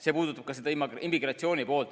See puudutab ka immigratsiooni.